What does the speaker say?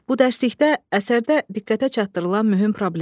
Bu dərslikdə əsərdə diqqətə çatdırılan mühüm problem.